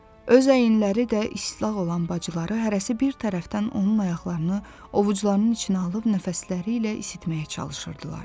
Öz əyinləri də islanmış olan bacıları hərəsi bir tərəfdən onun ayaqlarını ovucularının içinə alıb nəfəsləri ilə isitməyə çalışırdılar.